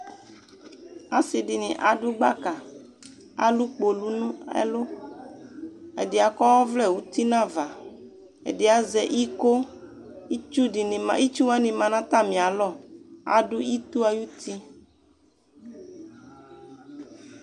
Asi dini adʋ gbaka, alʋ kpolu nʋ ɛlʋ, ɛdi akɔ ɔvlɛ uti n'ava, ɛdi azɛ iko, itsu dini ma, itsuwani ma n'atami alɔ, adʋ ito ay'uti